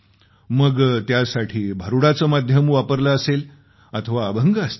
मग त्यासाठी भारूडाचे माध्यम वापरले असेल अथवा अभंग असतील